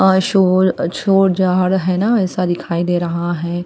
अ शोर शोर जहाड है ना ऐसा दिखाई दे रहा है।